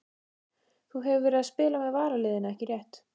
Þú hefur verið að spila með varaliðinu ekki rétt?